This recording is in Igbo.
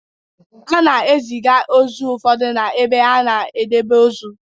A na-eziga ozu ụfọdụ n'ebe a na-edebe ozu.